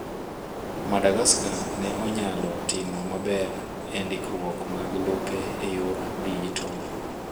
Madagaska ne onyalo timo maber e ndikruok mag lope e yor dijital